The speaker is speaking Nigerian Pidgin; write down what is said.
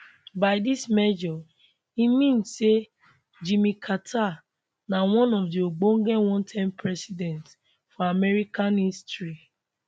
by dis measure e mean say jimmy carter na one of di ogbonge one term presidents for american history